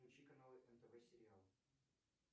включи каналы нтв сериал